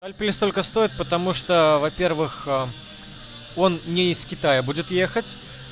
сколько стоит потому что во-первых он не из китая будет ехать